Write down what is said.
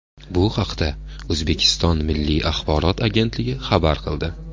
Bu haqda O‘zbekiston Milliy axborot agentligi xabar qildi .